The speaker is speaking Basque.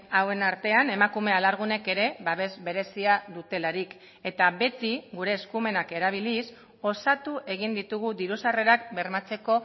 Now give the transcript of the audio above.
hauen artean emakume alargunek ere babes berezia dutelarik eta beti gure eskumenak erabiliz osatu egin ditugu diru sarrerak bermatzeko